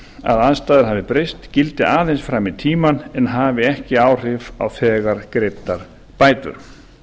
að aðstæður hafa breyst gildi aðeins fram í tímann en hafi ekki áhrif á þegar greiddar bætur